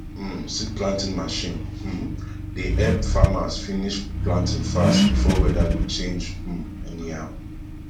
um seed planting machine um dey help farmers finish planting fast before weather go change um anyhow